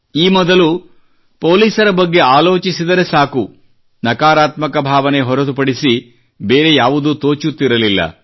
ಈ ಮೊದಲು ಪೊಲೀಸರ ಬಗ್ಗೆ ಆಲೋಚಿಸಿದರೆ ಸಾಕು ನಕಾರಾತ್ಮಕ ಭಾವನೆ ಹೊರತುಪಡಿಸಿ ಬೇರೆ ಯಾವುದೂ ತೋಚುತ್ತಿರಲಿಲ್ಲ